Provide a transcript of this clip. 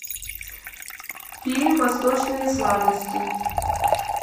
фильм восточные сладости